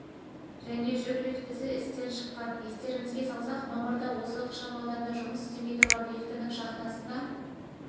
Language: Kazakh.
және жүк лифтісі істен шыққан естеріңізге салсақ мамырда осы ықшамауданда жұмыс істемей тұрған лифтінің шахтасына